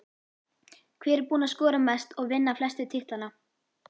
Hver er búinn að skora mest og vinna flestu titlana?